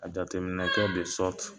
A jateminɛkɛ de sɔriti